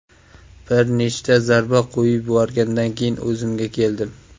Bir nechta zarba qo‘yib yuborgandan keyin o‘zimga keldim.